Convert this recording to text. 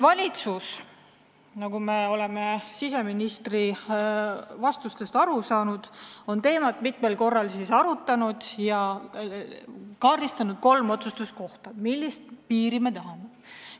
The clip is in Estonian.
Valitsus, nagu me oleme siseministri vastustest aru saanud, on teemat mitmel korral arutanud ja kaardistanud kolm otsustuskohta, millist piiri me tahame.